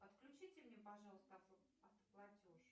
отключите мне пожалуйста автоплатеж